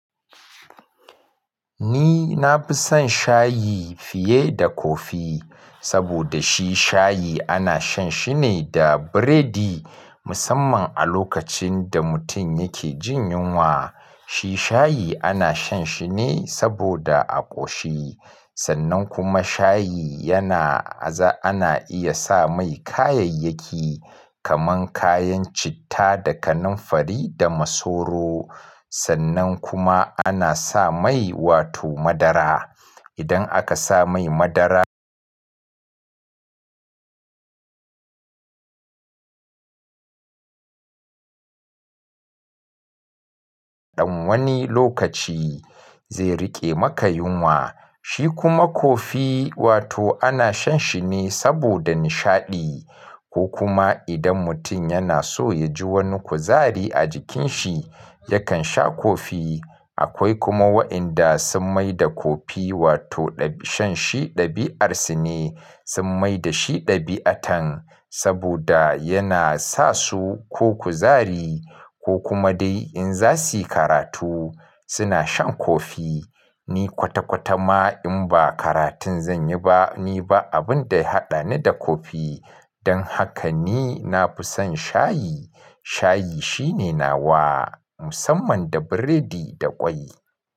Ni na fi son shayi fiye da kofi saboda shi shayi ana shan shi ne da biredi musamman a lokacin da mutum yake jin yunwa. Shi shayi ana shan shi ne saboda a ƙoshi. Sannan kuma shayi yana aza ana iya sa mai kayayyaki kaman kayan citta, da kanumfari da masoro. Sannan kuma ana sa mai wato madara. Idan aka sa mai madara, ɗan wani lokaci zai riƙe maka yunwa. Shi kuma kofi wato ana shan shi ne saboda nishaɗi ko kuma idan mutum yana so ya ji wani kuzari a jikin shi yakan sha coffee. Akwai kuma waɗanda sun mai da coffee wato shan shi ɗabi'ar su ne. Sun mai da shi ɗabi'atan saboda yana sa su ko kuzari ko kuma dai in za su yi karatu suna shan kofi. Ni kwata-kwata ma in ba karatun zan yi ba ni ba abin da ya haɗa ni da coffee. Don haka ni na fi son shayi. Shayi shine nawa musamman da biredi da ƙwai.